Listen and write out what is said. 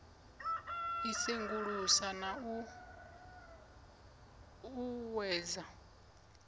i sengulusa na u uuwedza